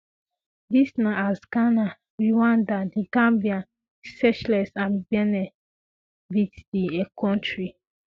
dis na as ghana rwanda the gambia seychelles and benin beat di kontri